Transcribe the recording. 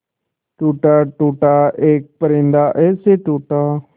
टूटा टूटा एक परिंदा ऐसे टूटा